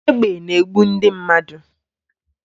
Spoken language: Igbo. Egbe na-egbu ndị mmadụ